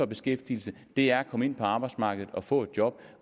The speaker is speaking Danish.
beskæftigelse er at komme ind på arbejdsmarkedet og få et job